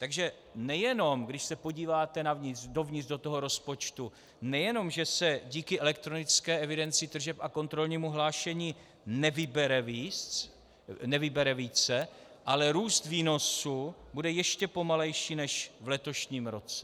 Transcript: Takže nejenom, když se podíváte dovnitř do toho rozpočtu, nejenom že se díky elektronické evidenci tržeb a kontrolnímu hlášení nevybere více, ale růst výnosů bude ještě pomalejší než v letošním roce.